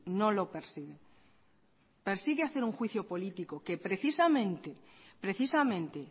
no lo persigue persigue hacer un juicio político que precisamente